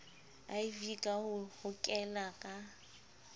iv ka ho hokela ka